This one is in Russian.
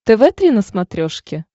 тв три на смотрешке